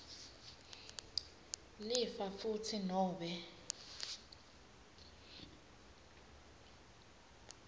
lifa futsi nobe